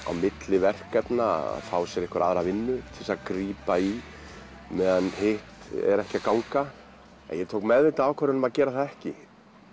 á milli verkefna að fá sér aðra vinnu til að grípa í meðan hitt er ekki að ganga en ég tók meðvitaða ákvörðun um að gera það ekki